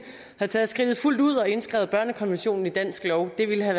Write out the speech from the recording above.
havde taget skridtet fuldt ud og indskrevet børnekonventionen i dansk lov det ville have